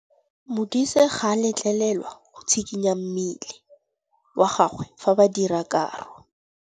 Modise ga a letlelelwa go tshikinya mmele wa gagwe fa ba dira karô.